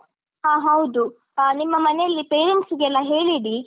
ಹಾ ಹೌದು ಅ ನಿಮ್ಮ ಮನೆಯಲ್ಲಿ parents ಗೆಲ್ಲ ಹೇಳಿ ಇಡಿ.